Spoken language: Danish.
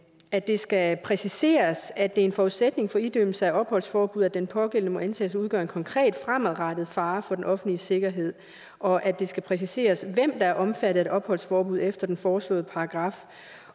at det skal præciseres at det er en forudsætning for idømmelse af opholdsforbud at den pågældende må antages at udgøre en konkret fremadrettet fare for den offentlige sikkerhed og at det skal præciseres hvem der er omfattet af et opholdsforbud efter den foreslåede paragraf